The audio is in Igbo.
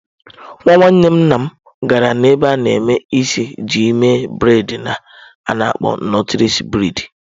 Nwa nwanne nna m gara n'ebe a na-eme isi iji mee bredị a na-akpọ nọtles bredị.